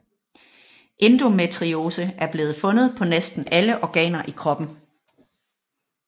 Endometriose er blevet fundet på næsten alle organer i kroppen